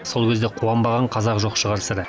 сол кезде қуанбаған қазақ жоқ шығар сірә